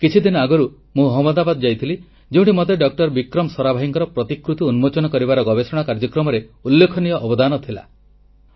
କିଛିଦିନ ଆଗରୁ ମୁଁ ଅହମଦାବାଦ ଯାଇଥିଲି ଯେଉଁଠି ମତେ ଡଃ ବିକ୍ରମ ସରାଭାଇଙ୍କର ପ୍ରତିକୃତି ଉନ୍ମୋଚନ କରିବାର ଗବେଷଣା କାର୍ଯ୍ୟକ୍ରମରେ ଉଲ୍ଲେଖନୀୟ ଅବଦାନ ଥିଲା